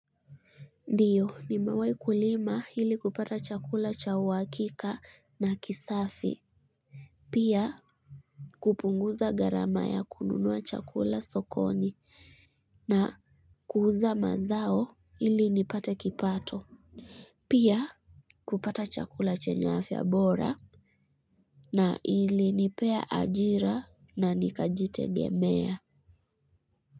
Ndiyo nimewahi kulima ili kupata chakula cha uhakika na kisafi pia kupunguza gharama ya kununua chakula sokoni na kuuza mazao ili nipate kipato pia kupata chakula chenye afya bora na ilinipea ajira na nikajitegemea.